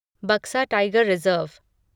Buxa tiger reserve